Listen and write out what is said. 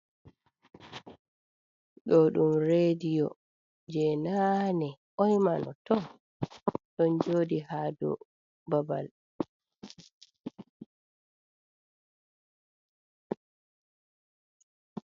Ɗo ɗum reɗiyo je naane. Boimano ɗon joodi ha dau babal.